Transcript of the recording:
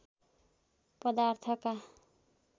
पदार्थका